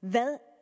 hvad